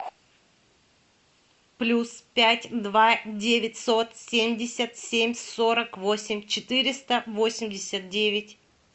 плюс пять два девятьсот семьдесят семь сорок восемь четыреста восемьдесят девять